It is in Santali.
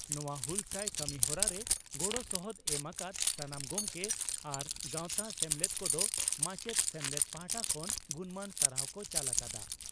ᱱᱚᱣᱟ ᱦᱩᱞᱥᱟᱹᱭ ᱠᱟᱹᱢᱤᱦᱚᱨᱟ ᱨᱮ ᱜᱚᱲᱚ ᱥᱚᱦᱚᱫ ᱮᱢ ᱟᱠᱟᱫ ᱥᱟᱱᱟᱢ ᱜᱚᱢᱠᱮ ᱟᱨ ᱜᱟᱣᱛᱟ/ᱥᱮᱢᱞᱮᱫ ᱠᱚᱫᱚ ᱢᱟᱪᱮᱛ ᱥᱮᱢᱞᱮᱫ ᱯᱟᱦᱴᱟ ᱠᱷᱚᱱ ᱜᱩᱱᱢᱟᱱ ᱥᱟᱨᱦᱟᱣ ᱠᱚ ᱪᱟᱞ ᱟᱠᱟᱫᱼᱟ ᱾